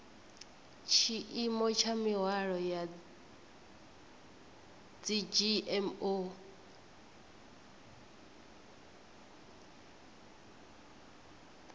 tshiimo tsha mihwalo ya dzgmo